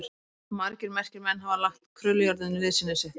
Margir merkir menn hafa lagt krullujárninu liðsinni sitt.